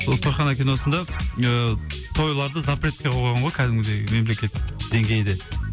сол тойхана киносында ыыы тойларды запретке қойған ғой кәдімгідей мемлекеттік деңгейде